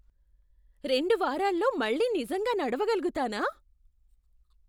రెండు వారాల్లో మళ్ళీ నిజంగా నడవగలుగుతానా?